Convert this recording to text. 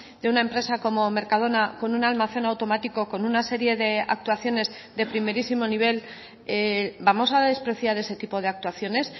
de una empresa como mercadona con un almacén automático con una serie de actuaciones de primerísimo nivel vamos a despreciar ese tipo de actuaciones